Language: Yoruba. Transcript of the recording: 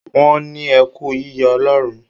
Wọ́n ní ẹ kú yíyọ Ọlọ́run.